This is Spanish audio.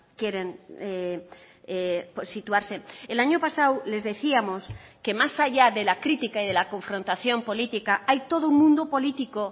quieren situarse el año pasado les decíamos que más allá de la crítica y de la confrontación política hay todo un mundo político